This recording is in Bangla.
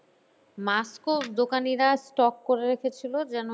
Mask ও দোকানিরা stock করে রেখেছিল যেন